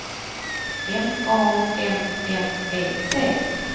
N A M N E T